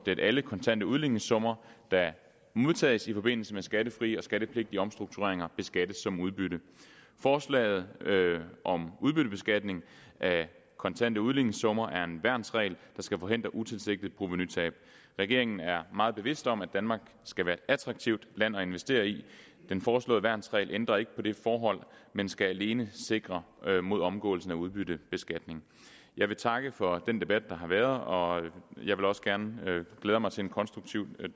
at alle kontante udligningssummer der modtages i forbindelse med skattefrie og skattepligtige omstruktureringer beskattes som udbytte forslaget om udbyttebeskatning af kontante udligningssummer er en værnsregel der skal forhindre utilsigtede provenutab regeringen er meget bevidst om at danmark skal være et attraktivt land at investere i den foreslåede værnsregel ændrer ikke på det forhold men skal alene sikre mod omgåelsen af udbyttebeskatning jeg vil takke for den debat der har været og jeg glæder mig til en konstruktiv